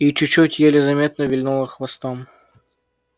и чуть-чуть еле заметно вильнула хвостом